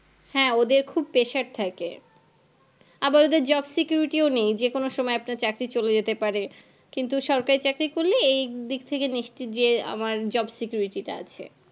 হ্যাঁ ওদের খুব Pressure থাকে আবার ওদের Job security ও নেই যেকোনো সময় আবার চাকরটি চলে যেতে পারে কিন্তু সরকারি চাকরি করলে এই দিক থেকে নিশ্চিন্ত যে আমার Job security তা আছে